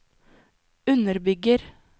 underbygger